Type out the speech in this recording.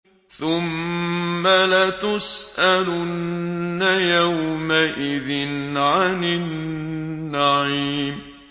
ثُمَّ لَتُسْأَلُنَّ يَوْمَئِذٍ عَنِ النَّعِيمِ